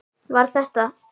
Var þetta.